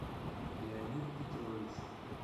леонид петрович